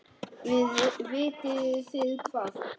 Vitið þið hvað.